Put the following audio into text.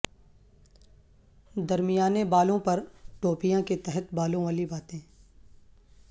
درمیانے بالوں پر ٹوپیاں کے تحت بالوں والی باتیں